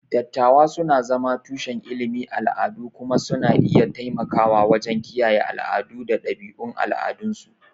Dattawa suna zama tushen ilimin al'adu kuma suna iya taimakawa wajen kiyaye al'adu da ɗabi'un al'adunsu.